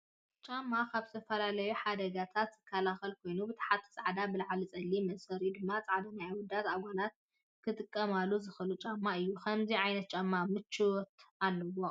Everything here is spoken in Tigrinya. ጫማ፦ ካብ ዝተፈላለዩ ሓደጋታት ዝኸላከል ኮይኑ ብታሕቲ ፃዕዳ ብላዕሊ ፀሊም መእሰሪኡ ድማ ፃዕዳ ናይ ኣወዳት ኣጓላትን ክትቃማሉ ዝክእሉ ጫማ እዩ። ከምዙይ ዓይነት ጫማ ምቾት ኣለዎ።